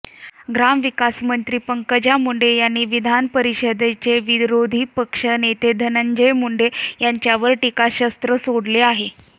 ग्रामविकास मंत्री पंकजा मुंडे यांनी विधानपरिषदेचे विरोधी पक्षनेते धनंजय मुंडे यांच्यावर टीकास्त्र सोडलं आहे